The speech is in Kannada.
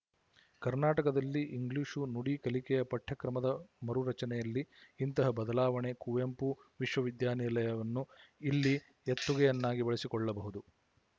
ಕರ್ನಾಟಕದಲ್ಲಿ ಇಂಗ್ಲಿಶು ನುಡಿ ಕಲಿಕೆಯ ಪಠ್ಯಕ್ರಮದ ಮರುರಚನೆಯಲ್ಲಿ ಇಂತಹ ಬದಲಾವಣೆ ಕುವೆಂಪು ವಿಶವವಿದ್ಯಾನಿಲಯವನ್ನು ಇಲ್ಲಿ ಎತ್ತುಗೆಯನ್ನಾಗಿ ಬಳಸಿಕೊಳ್ಳಬಹುದು